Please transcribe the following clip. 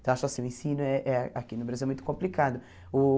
Então, acho assim, o ensino eh eh aqui no Brasil é muito complicado uh.